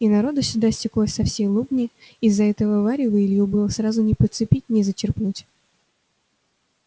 и народу сюда стеклось со всей лобни из-за этого варева илью было сразу не подцепить не зачерпнуть